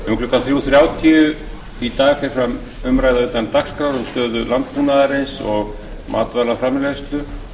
um klukkan þrjú þrjátíu í dag fer fram umræða utan dagskrá um stöðu landbúnaðarins og matvælaframleiðslu